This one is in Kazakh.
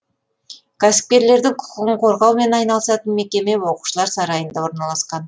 кәсіпкерлердің құқығын қорғаумен айналысатын мекеме оқушылар сарайында орналасқан